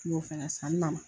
N y'o fɛnɛ san n nana